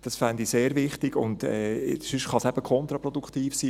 Das fände ich sehr wichtig, ansonsten kann es eben kontraproduktiv sein.